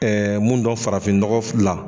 mun dɔn farafin nɔgɔ fila.